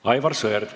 Aivar Sõerd.